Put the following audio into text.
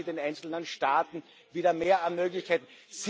Geben Sie den einzelnen Staaten wieder mehr an Möglichkeiten.